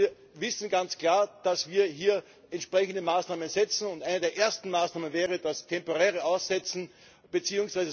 Wir wissen ganz klar, dass wir hier entsprechende Maßnahmen setzen, und eine der ersten Maßnahmen wäre das temporäre Aussetzen bzw.